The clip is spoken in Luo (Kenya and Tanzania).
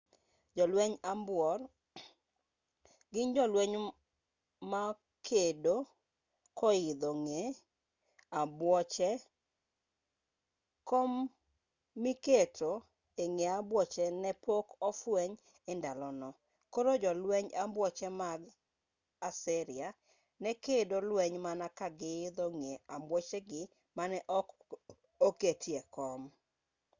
jolwenj ambuor gin jolweny ma kedo koidho ng'e ambuoche kom miketo e ng'e ambuoche ne pok ofweny e ndalono koro jolwenj ambuoche mag assyria ne kedo lweny mana ka giidho ng'e ambuochegi mane ok oketie kom